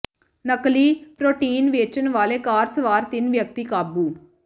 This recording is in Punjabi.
ਨਕਲੀ ਪ੍ਰਰੋਟੀਨ ਵੇਚਣ ਵਾਲੇ ਕਾਰ ਸਵਾਰ ਤਿੰਨ ਵਿਅਕਤੀ ਕਾਬੂ